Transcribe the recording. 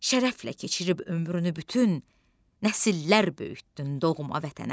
Şərəflə keçirib ömrünü bütün, nəsillər böyütdün doğma vətənə.